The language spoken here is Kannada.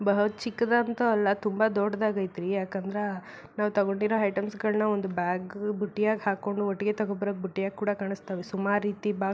ಬಹ ಚಿಕ್ಕದಂತು ಅಲ್ಲ ತುಂಬಾ ದೊಡ್ಡದಾಗೇತಿ ಯಾಕಂದ್ರ ನಾವ್ ತಗೊಂಡಿರೋ ಐಟಮ್ಸ್ ಗಳನ್ನ ಒಂದು ಬ್ಯಾಗ್ ಬುಟ್ಟಿ ಹಾಕೊಂಡು ಒಟ್ಟಿಗೆ ತಗೊಂಡ್ ಬಂದ್ರೆ ಬುಟ್ಟಿಯಾಗಿ ಕಾಣಿಸ್ತಾವೆ ಸುಮಾರ್ ರೀತಿ ಬ್ಯಾಗ್ --